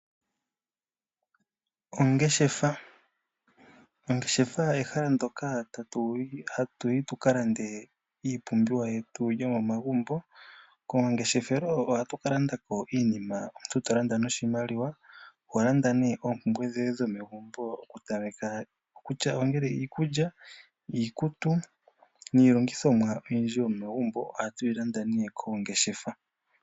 Ongeshefa, ongeshefa ehala ndyoka hatu yi tuka lande iipumbwe yetu yomomagumbo. Koongeshefelo ohatu ka landa ko iinima omuntu to landa noshimaliwa, oho landa ne oompumbwe dhoye dhomegumbo oku tameka kutya ngele iikulya, iikutu niilongithomwa oyindji yomegumbo ohatu yi landa nee koongeshefa.